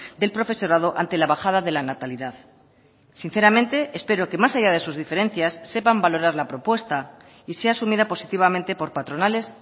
del profesorado ante la bajada de la natalidad sinceramente espero que más allá de sus diferencias sepan valorar la propuesta y sea asumida positivamente por patronales